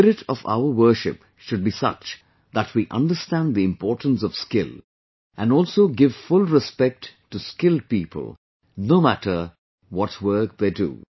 The spirit of our worship should be such that we understand the importance of skill, and also give full respect to skilled people, no matter what work they do